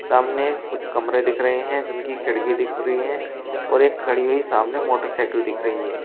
सामने कुछ कमरे दिख रहे हैं जिनकी खिड़की दिख रही है और एक खड़ी हुई सामने मोटरसाइकल दिख रही है।